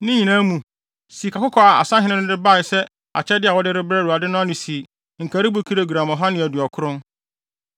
Ne nyinaa mu sikakɔkɔɔ a asahene no de bae sɛ akyɛde a wɔde rebrɛ Awurade no ano si nkaribo kilogram ɔha ne aduɔkron.